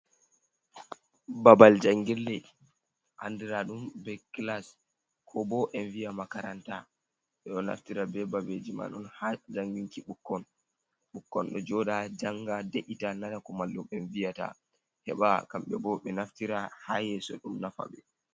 Babal jangirle andiraɗum be kilas ko bo en viya makaranta, ɓe ɗo naftira be babeji man ha janginki ɓukkon ,ɓikkon ɗo joɗa janga de’ita nana ko mallu'en viyata, heɓa kamɓe bo ɓe naftira ha yeso ɗum nafa ɓe.